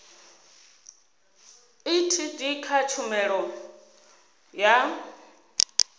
a etd kha tshumelo ya